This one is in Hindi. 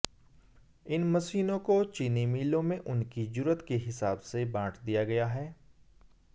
इन मशीनों को चीनी मिलों में उनकी जरूरत के हिसाब से बांट दिया गया है